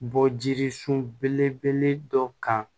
Bɔ jirisun belebele dɔ kan